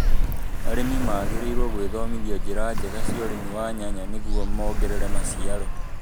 Arĩmi magĩrĩirũo gũĩthomithia njĩra njega cia ũrĩmi wa nyanya nĩrguo mongerere maciaro